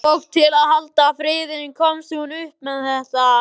Og til að halda friðinn komst hún upp með þetta.